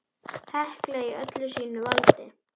Hekla í öllu sínu valdi!